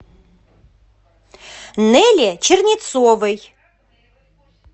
неле чернецовой